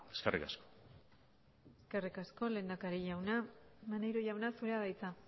eskerrik asko eskerrik asko lehendakari jauna maneiro jauna zurea da hitza